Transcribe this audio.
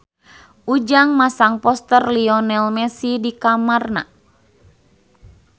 Ujang masang poster Lionel Messi di kamarna